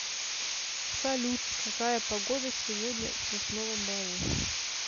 салют какая погода сегодня в сосновом бору